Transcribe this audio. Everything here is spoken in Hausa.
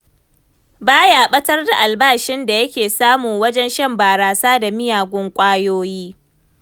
Ba ya ɓatar da albashin da yake samu wajen shan barasa da miyagun ƙwayoyi.